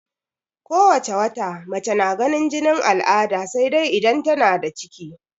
Ko wace wata mace na ganin jinin al'ada sai dai idan tana da ciki.